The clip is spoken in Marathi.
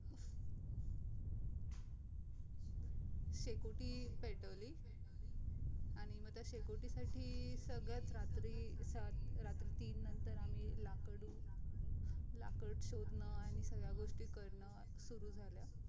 शेकोटी पेटवली आणि मग त्या शेकोटी साठी सगळ्यात रात्री रा अं रात्री तीन नंतर आम्ही लाकडू लाकूड शोधणं आणि सगळ्या गोष्टी करणं सुरु झाल्या